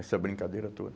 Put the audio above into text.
Essa brincadeira toda.